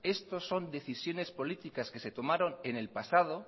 esto son decisiones políticas que se tomaron en el pasado